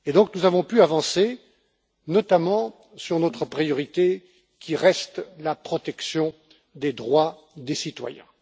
Nous avons donc pu avancer notamment sur notre priorité, qui reste la protection des droits des citoyens.